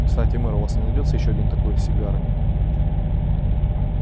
кстати мэр у вас не найдётся ещё один такой сигары